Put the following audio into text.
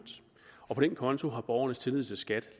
og på den konto har borgernes tillid til skat